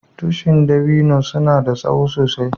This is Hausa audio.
Tushin dabino suna da tsowo sosai.